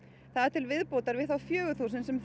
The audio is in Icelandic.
til viðbótar við þá fjögur þúsund sem